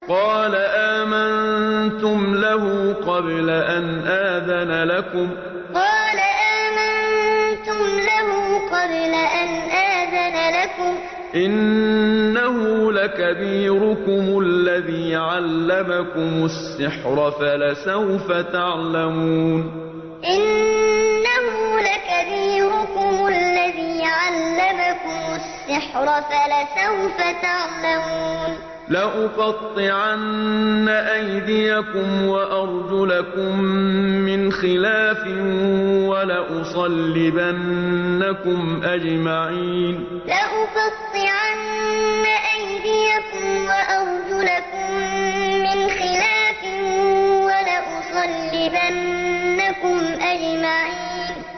قَالَ آمَنتُمْ لَهُ قَبْلَ أَنْ آذَنَ لَكُمْ ۖ إِنَّهُ لَكَبِيرُكُمُ الَّذِي عَلَّمَكُمُ السِّحْرَ فَلَسَوْفَ تَعْلَمُونَ ۚ لَأُقَطِّعَنَّ أَيْدِيَكُمْ وَأَرْجُلَكُم مِّنْ خِلَافٍ وَلَأُصَلِّبَنَّكُمْ أَجْمَعِينَ قَالَ آمَنتُمْ لَهُ قَبْلَ أَنْ آذَنَ لَكُمْ ۖ إِنَّهُ لَكَبِيرُكُمُ الَّذِي عَلَّمَكُمُ السِّحْرَ فَلَسَوْفَ تَعْلَمُونَ ۚ لَأُقَطِّعَنَّ أَيْدِيَكُمْ وَأَرْجُلَكُم مِّنْ خِلَافٍ وَلَأُصَلِّبَنَّكُمْ أَجْمَعِينَ